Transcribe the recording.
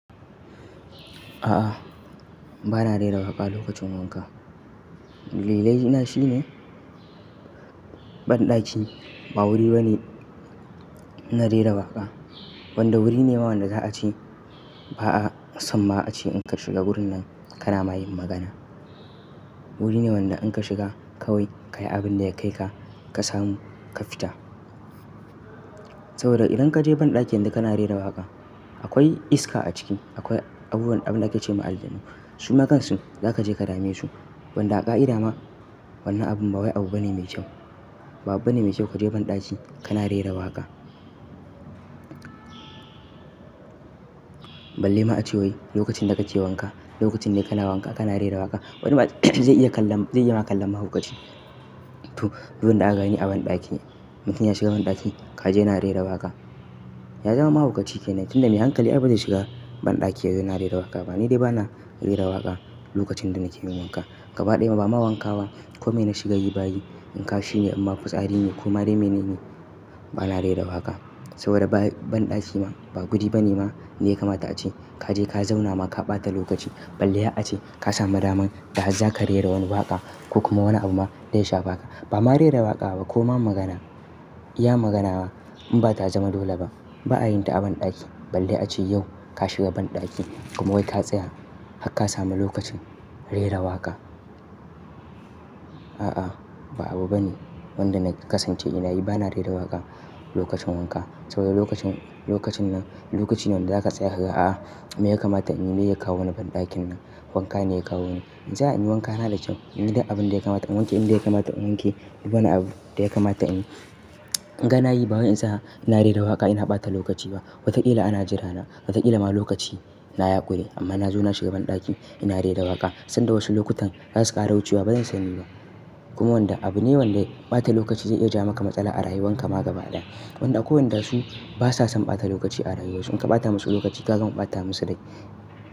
A'a, bana rera waƙa lokacin wanka. Dalilai na shine, banɗaki ba wuri bane na rera waƙa. Wanda wuri ne ma wanda za a ce ba'a samma ace in ka shiga wurin nan kana ma yin magana. Wuri ne wanda in ka shiga kawai kayi abin da ya kai ka, ka samu ka fita. Saboda idan ka je banɗaki yanzu kana rera waƙa akwai iska a ciki, akwai abubuwan abin da ake ce ma aljanu. Suma kansu za ka je ka dame su. Wanda a ka ida ma wannan abun ba wai abu bane mai kyau. Ba abu bane mai kyau ka je banɗaki kana rera waƙa. Balle ma a ce wai lokacin da kake wanka, lokacin da kana wanka kana rera waƙa. Wani ma zai iya kalla-- zai iya ma kallon mahaukaci. To, duk wanda aka gani a banɗaki, mutum ya shiga banɗaki ka ji ya na rera waƙa, ya zama mahaukaci kenan tunda mai hankali ai bazai shiga banɗaki ya zo ya na rera waƙa. Ba ni dai bana rera waƙa lokacin da nake min wanka. Gaba ɗaya ma ba ma wanka ba ko me na shiga yi bayi in ka shi ne amma fitsari ne ko ma dai me ne ne bana rera waƙa. Saboda ba banɗaki ma ba guri bane ma da ya kamata a ce ka je ka zauna ma ka ɓata lokaci. Balle a ce ka samu daman da harza ka rera wani waƙa ko kuma wani abu ma da ya shafe aka. Ba ma rera waƙa ba ko ma magana, iya magana in ba ta zama dole ba ba a yin ta a banɗaki. Balle a ce yau ka shiga banɗaki kuma wai ka tsaya har ka samu lokacin rera waƙa. A'a, ba abu bane wanda na kasance ina yi bana rera waƙa lokacin wanka. Saboda lokacin, lokacin nan lokaci ne wanda za ka tsaya ka ga a'a me ya kamata in yi meye ya kawo ni banɗakin nan, wanka ne ya kawo ni. In tsaya in yi wankana da kyau. Inyi duk abin da ya kamata in wanke in da ya kamata in wanke. Duk wani abu da ya kamata in yi gana yi ba wai in sa ina rera waƙa ina ɓata lokaci ba. Wataƙila ana jira na, wataƙila ma lokaci na ya ƙure amma na zo na shiga banɗaki ina rera waƙa sanda wasu lokutan za su ƙara wucewa bazan sani ba. Kuma wanda abu ne wanda ɓata lokaci zai iya ja ma ka matsala a rayuwan ka ma gaba ɗaya. Wanda akwai wanda su ba sa son ɓata lokaci a rayuwa. In ka ɓata masu lokaci za ka ga ma ɓata musu rai.